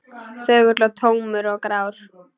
Þögull og tómur og grár.